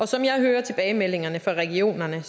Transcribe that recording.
som jeg hører tilbagemeldingerne fra regionerne